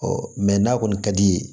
n'a kɔni ka d'i ye